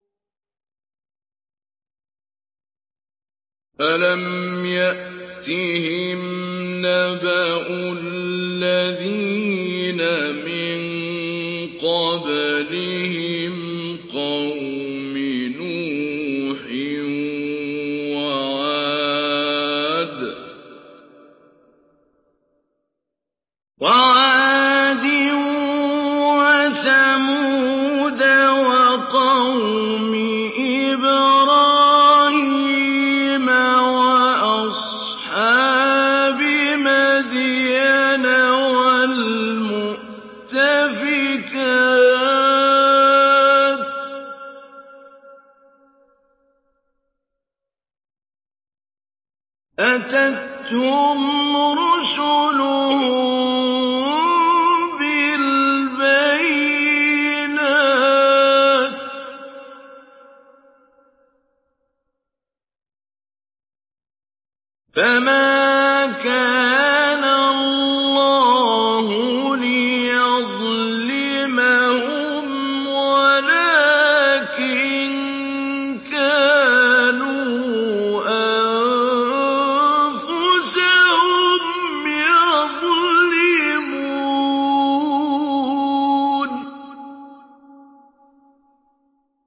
أَلَمْ يَأْتِهِمْ نَبَأُ الَّذِينَ مِن قَبْلِهِمْ قَوْمِ نُوحٍ وَعَادٍ وَثَمُودَ وَقَوْمِ إِبْرَاهِيمَ وَأَصْحَابِ مَدْيَنَ وَالْمُؤْتَفِكَاتِ ۚ أَتَتْهُمْ رُسُلُهُم بِالْبَيِّنَاتِ ۖ فَمَا كَانَ اللَّهُ لِيَظْلِمَهُمْ وَلَٰكِن كَانُوا أَنفُسَهُمْ يَظْلِمُونَ